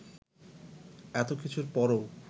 এত কিছুর পরও